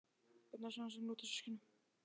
Í Bjarnanes í annað sinn að úthýsa hyskinu.